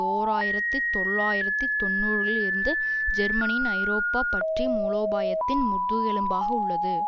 ஓர் ஆயிரத்தி தொள்ளாயிரத்து தொன்னூறுகளில் இருந்து ஜெர்மனியின் ஐரோப்பா பற்றிய மூலோபாயத்தின் முதுகெலும்பாக உள்ளது